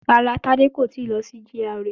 Rárá, Tádé kò tíì kó lọ sí GRA